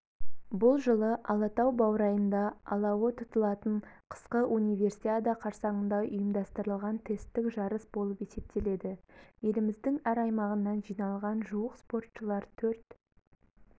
бұл жылы алатау баурайында алауы тұтылатын қысқы универсиада қарсаңында ұйымдастырылған тесттік жарыс болып есептеледі еліміздің әр аймағынан жиналған жуық спортшылар төрт